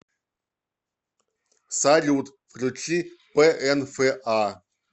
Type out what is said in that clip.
салют включи пээнфэа